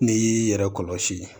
N'i y'i yɛrɛ kɔlɔsi